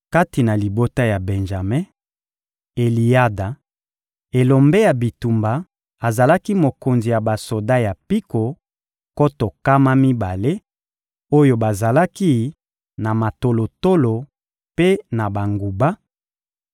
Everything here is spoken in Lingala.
Kati na libota ya Benjame: Eliyada, elombe ya bitumba, azalaki mokonzi ya basoda ya mpiko nkoto nkama mibale oyo bazalaki na matolotolo mpe na banguba;